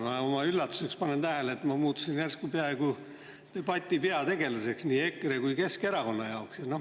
Ma oma üllatuseks panen tähele, et ma olen muutunud järsku peaaegu debati peategelaseks nii EKRE kui ka Keskerakonna jaoks.